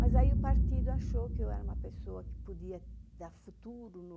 Mas aí o partido achou que eu era uma pessoa que podia dar futuro no...